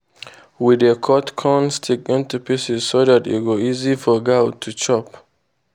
we dey cut corn stick into pieces so dat e go easy for goat to chop.